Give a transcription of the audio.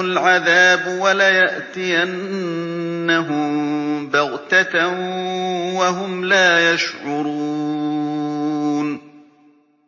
الْعَذَابُ وَلَيَأْتِيَنَّهُم بَغْتَةً وَهُمْ لَا يَشْعُرُونَ